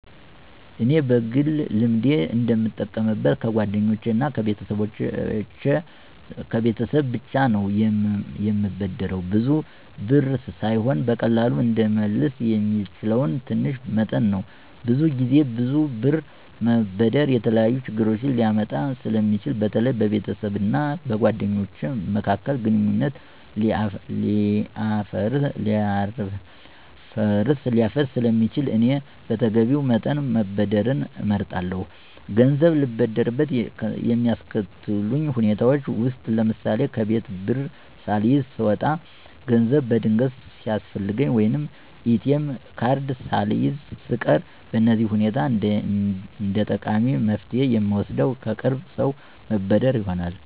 እኔ በግል ልምዴ እንደምጠቀምበት ከጓደኞቼ እና ከቤተሰብ ብቻ ነው፤ የምበደረውም ብዙ ብር ሳይሆን በቀላሉ እንድመለስ የሚችለው ትንሽ መጠን ነው። ብዙ ጊዜ ብዙ ብር መበደር የተለያዩ ችግሮችን ሊያመጣ ስለሚችል በተለይ በቤተሰብ እና በጓደኞች መካከል ግንኙነት ሊያፈርስ ስለሚችል እኔ በተገቢው መጠን መበደርን እመርጣለሁ። ገንዘብ ልበደርበት የሚያስከትሉ ሁኔታዎች ውስጥ ለምሳሌ፣ ከቤት ብር ሳልይዝ ስወጣ፣ ገንዘብ በድንገት ሲያስፈልገኝ፣ ወይም ATM ካርድ ሳልይዝ ስቀር በእነዚህ ሁኔታ እንደጠቃሚ መፍትሄ የምወስደው ከቅርብ ሰው መበደር ይሆናል።